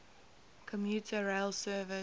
commuter rail service